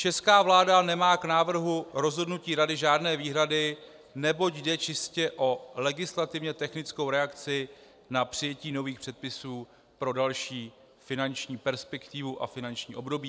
Česká vláda nemá k návrhu rozhodnutí Rady žádné výhrady, neboť jde čistě o legislativně technickou reakci na přijetí nových předpisů pro další finanční perspektivu a finanční období.